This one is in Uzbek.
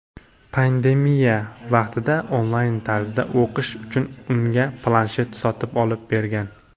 Pandemiya vaqtida onlayn tarzda o‘qishi uchun unga planshet sotib olib bergan.